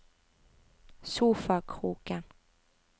sofakroken